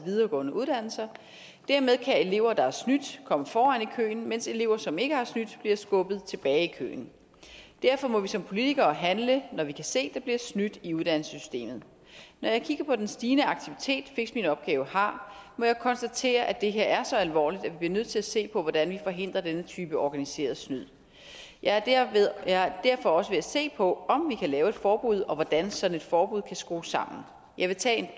videregående uddannelser dermed kan elever der har snydt komme foran i køen mens elever som ikke har snydt bliver skubbet tilbage i køen derfor må vi som politikere handle når vi kan se at der bliver snydt i uddannelsessystemet når jeg kigger på den stigende aktivitet fixminopgavedk har må jeg konstatere at det her er så alvorligt at vi bliver nødt til at se på hvordan vi forhindrer denne type organiseret snyd jeg er derfor også ved at se på om vi kan lave et forbud og hvordan sådan et forbud kan skrues sammen jeg vil tage